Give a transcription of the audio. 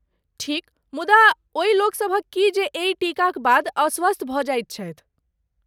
ठीक, मुदा ओहि लोकसभक की जे एहि टीकाक बाद अस्वस्थ भऽ जाइत छथि?